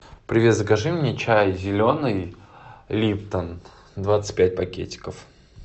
привет закажи мне чай зеленый липтон двадцать пять пакетиков